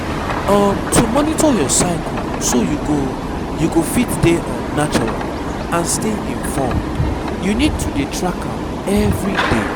um to monitor your cycle so you go you go fit dey um natural and stay informed you need to dey track am everyday.